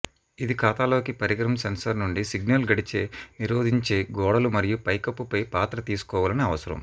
ఇది ఖాతాలోకి పరికరం సెన్సార్ నుండి సిగ్నల్ గడిచే నిరోధించే గోడలు మరియు పైకప్పుపై పాత్ర తీసుకోవాలని అవసరం